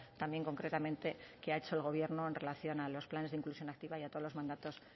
también concretamente qué ha hecho el gobierno en relación a los planes de inclusión activa y a todos los mandatos